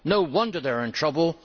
No wonder they are in trouble